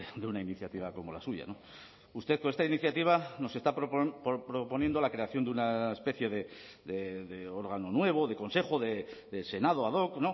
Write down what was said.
de una iniciativa como la suya usted con esta iniciativa nos está proponiendo la creación de una especie de órgano nuevo de consejo de senado ad hoc